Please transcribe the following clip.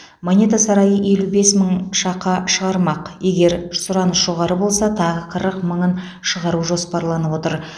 монета сарайы елу бес мың шақа шығармақ егер сұраныс жоғары болса тағы қырық мыңын шығару жоспарланып отыр